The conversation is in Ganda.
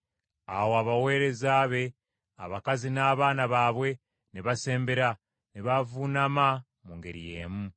Awo abaweereza be abakazi n’abaana baabwe ne basembera, ne bavuunama, mu ngeri y’emu.